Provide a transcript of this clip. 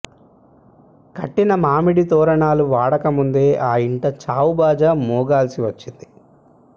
కట్టిన మామిడి తోరణాలు వాడకముందే ఆ ఇంట చావుబాజా మోగాల్సి వచ్చింది